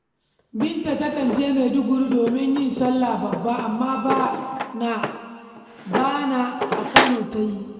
Binta takan je Maiduguri domin yin sallah babba, amma bana a Kano ta yi.